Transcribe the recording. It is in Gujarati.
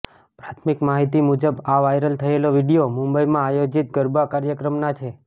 પ્રાથમિક માહિતી મુજબ આ વાઈરલ થયેલા વિડીયો મુંબઈમાં આયોજીત ગરબા ક્રાયક્રમના છે